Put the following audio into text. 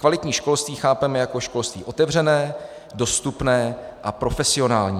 Kvalitní školství chápeme jako školství otevřené, dostupné a profesionální.